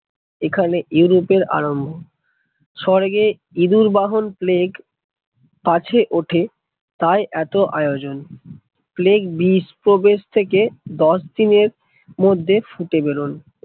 এখানে আরম্ভ স্বর্গে ইঁদুর বাহন প্লেগ কাছে ওঠে তাই এত আয়োজন, প্লেগ বীজ প্রবেশ থেকে দশ দিন এর মধ্যে ফুটে বারোয়